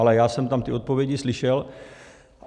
Ale já jsem tam ty odpovědi slyšel.